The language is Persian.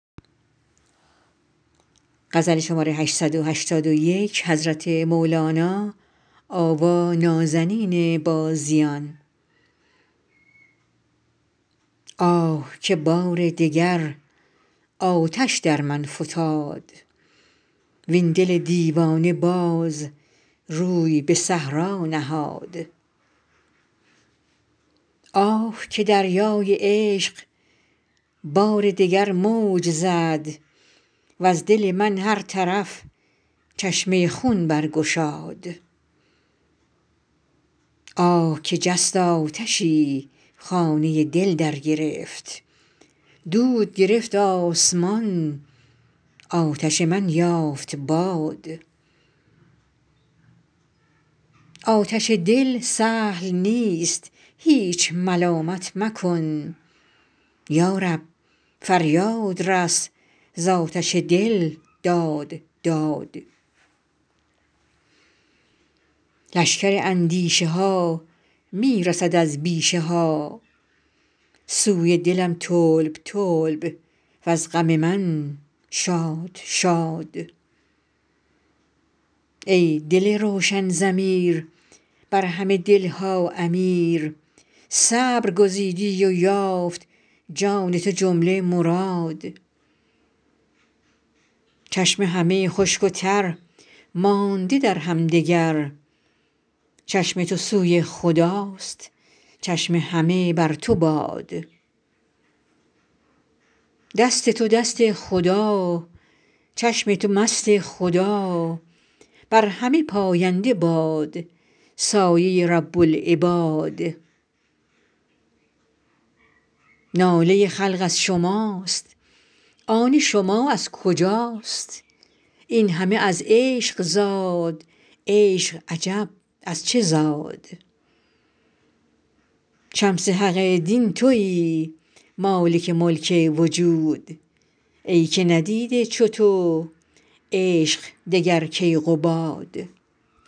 آه که بار دگر آتش در من فتاد وین دل دیوانه باز روی به صحرا نهاد آه که دریای عشق بار دگر موج زد وز دل من هر طرف چشمه خون برگشاد آه که جست آتشی خانه دل درگرفت دود گرفت آسمان آتش من یافت باد آتش دل سهل نیست هیچ ملامت مکن یا رب فریاد رس ز آتش دل داد داد لشکر اندیشه ها می رسد از بیشه ها سوی دلم طلب طلب وز غم من شاد شاد ای دل روشن ضمیر بر همه دل ها امیر صبر گزیدی و یافت جان تو جمله مراد چشم همه خشک و تر مانده در همدگر چشم تو سوی خداست چشم همه بر تو باد دست تو دست خدا چشم تو مست خدا بر همه پاینده باد سایه رب العباد ناله خلق از شماست آن شما از کجاست این همه از عشق زاد عشق عجب از چه زاد شمس حق دین توی مالک ملک وجود ای که ندیده چو تو عشق دگر کیقباد